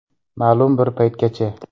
Ma’lum bir paytgacha.